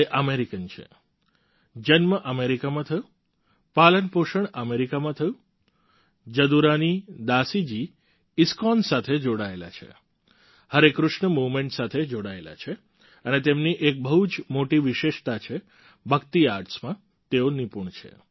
તે અમેરિકન છે જન્મ અમેરિકામાં થયો પાલનપોષણ અમેરિકામાં થયું જદુરાની દાસી જી ઈસ્કોન સાથે જોડાયેલા છે હરે કૃષ્ણા મૂવમેન્ટ સાથે જોડાયેલા છે અને તેમની એક બહુ જ મોટી વિશેષતા છે ભક્તિ આર્ટ્સમાં તેઓ નિપુણ છે